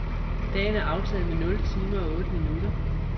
Dagen er aftaget med nul timer og otte minutter.